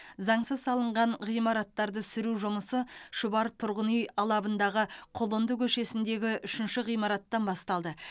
заңсыз салынған ғимараттарды сүру жұмысы шұбар тұрғын үй алабындағы құлынды көшесіндегі үшінші ғимараттан басталды